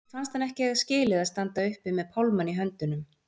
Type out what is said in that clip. Mér fannst hann ekki eiga skilið að standa uppi með pálmann í höndunum.